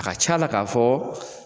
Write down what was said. A ka c'a la ka fɔ